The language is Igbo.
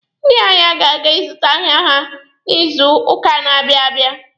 Ndị ahịa ga-aga ịzụta ahịa ha n'izuuka na-abịa abịa.